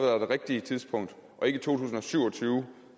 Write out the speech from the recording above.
er det rigtige tidspunkt og ikke to tusind og syv og tyve